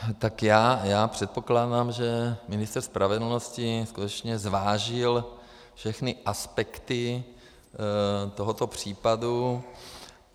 Tak já předpokládám, že ministr spravedlnosti skutečně zvážil všechny aspekty tohoto případu.